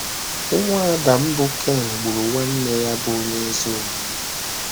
Nwa Adam bụ́ Ken gburu nwanne ya bụ́ onye ezi omume.